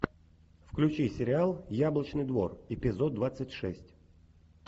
включи сериал яблочный двор эпизод двадцать шесть